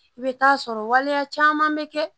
I bɛ taa sɔrɔ waleya caman bɛ kɛ